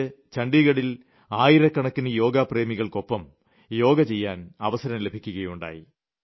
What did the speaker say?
എനിക്ക് ഛണ്ഡിഗഢിൽ ആയിരക്കണക്കിന് യോഗാ പ്രേമികൾക്കൊപ്പം യോഗ ചെയ്യാൻ അവസരം ലഭിക്കുകയുണ്ടായി